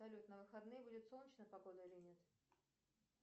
салют на выходные будет солнечная погода или нет